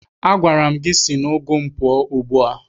Agwara m gị si n'ugu m pụọ ugbu a!